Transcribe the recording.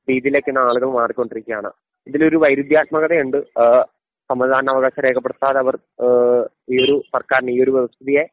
രീതിയിലേക്കിന്ന് ആളുകൾ മാറിക്കൊണ്ടിരിക്കുകയാണ്. ഇതിലൊരു വൈരുദ്ധ്യാത്മകതയുണ്ട് ആ സമ്മതിദാന അവകാശം രേഖപ്പെടുത്താതെ അവർ ഏഹ് ഈയൊരു സർക്കാരിനെ ഈ ഒരു വ്യവസ്ഥിതിയെ